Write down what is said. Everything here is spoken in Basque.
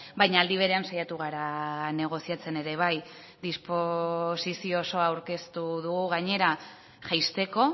baina aldi berean saiatu gara negoziatzen ere bai disposizio oso aurkeztu dugu gainera jaisteko